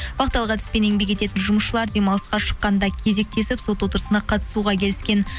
вахталық әдіспен еңбек ететін жұмысшылар демалысқа шыққанда кезектесіп сот отырысына қатысуға келіскен